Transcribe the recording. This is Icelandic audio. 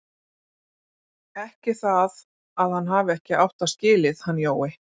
Ekki það að hann hafi ekki átt það skilið, hann Jói.